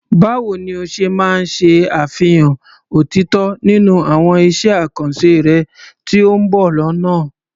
Báwo ni o ṣe máa ṣe àfihàn òtítọ́ nínú àwọn iṣẹ́ àkànṣe rẹ tí ó ń bọ̀ lọ́nà?